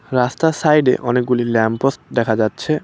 রাস্তার সাইডে অনেকগুলি ল্যাম্প পোস্ট দেখা যাচ্ছে।